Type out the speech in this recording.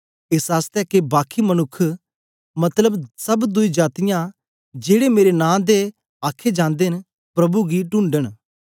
एस आसतै के बाकी मनुक्ख मतलब सब दुई जातीयां जेड़े मेरे नां दे आखे जंदे न प्रभु गी ढूंढन